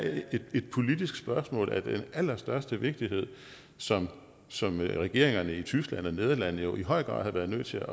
et politisk spørgsmål af den allerstørste vigtighed som som regeringerne i tyskland og nederlandene jo i høj grad har været nødt til